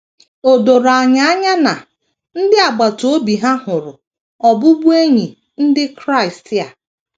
O doro anya na ndị agbata obi ha hụrụ ọbụbụenyi ndị Kraịst a.